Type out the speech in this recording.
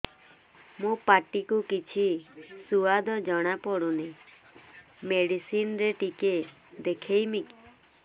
ମୋ ପାଟି କୁ କିଛି ସୁଆଦ ଜଣାପଡ଼ୁନି ମେଡିସିନ ରେ ଟିକେ ଦେଖେଇମି